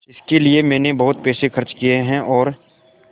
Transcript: इसके लिए मैंने बहुत पैसे खर्च किए हैं और